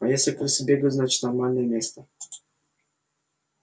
а если крысы бегают значит нормальное место